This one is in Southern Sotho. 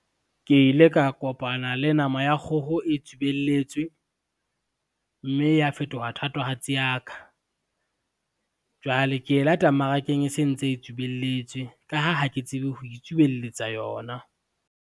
Ke ile ka kopana le nama ya kgoho e tsubelletswe, mme ya fetoha thatohatsi ya ka. Jwale ke e lata mmarakeng e se ntse e tsubelletswe ka ha, ha ke tsebe ho itsubelletsa yona.